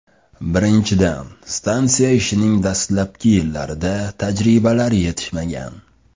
Birinchidan, stansiya ishining dastlabki yillarida tajribalar yetishmagan.